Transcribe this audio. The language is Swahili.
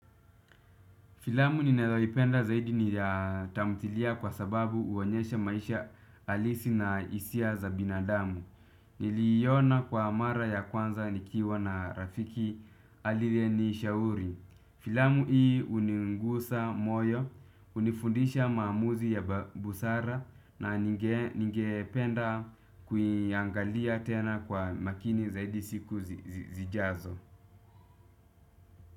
Filamu ninayoipenda zaidi ni ya tamthilia kwa sababu huonyesha maisha halisi na hisia za binadamu. Niliona kwa mara ya kwanza nikiwa na rafiki aliyenishauri. Filamu hii hunigusa moyo, unifundisha mamuzi ya busara na ningependa kuiangalia tena kwa makini zaidi siku zijazo.